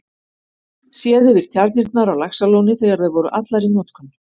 Séð yfir tjarnirnar á Laxalóni þegar þær voru allar í notkun.